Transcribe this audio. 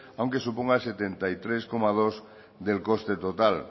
aunque suponga el setenta y tres coma dos del coste total